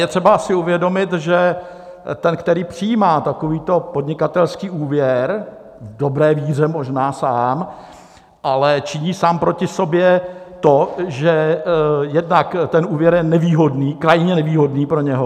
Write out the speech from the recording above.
Je třeba si uvědomit, že ten, který přijímá takovýto podnikatelský úvěr v dobré víře, možná sám ale činí sám proti sobě to, že jednak ten úvěr je nevýhodný, krajně nevýhodný pro něj.